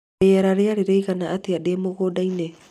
rĩera rĩarĩ rĩigana atĩa ndĩ mũgũnda-inĩ